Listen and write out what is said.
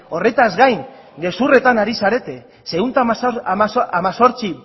horretaz gain gezurretan ari zarete ehun eta hemezortzi